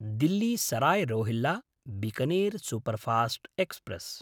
Delhi Sarai Rohilla Bikaner superfast express